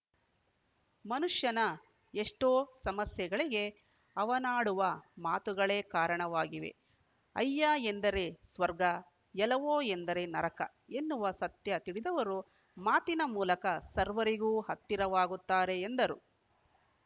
ಮನುಷ್ಯನ ಎಷ್ಟೋ ಸಮಸ್ಯೆಗಳಿಗೆ ಅವನಾಡುವ ಮಾತುಗಳೇ ಕಾರಣವಾಗಿವೆ ಅಯ್ಯ ಎಂದರೇ ಸ್ವರ್ಗ ಎಲವೋ ಎಂದರೆ ನರಕ ಎನ್ನುವ ಸತ್ಯ ತಿಳಿದವರು ಮಾತಿನ ಮೂಲಕ ಸರ್ವರಿಗೂ ಹತ್ತಿರವಾಗುತ್ತಾರೆ ಎಂದರು